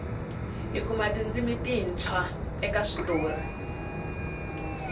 hi kuma tindzimi tintshwa eka switori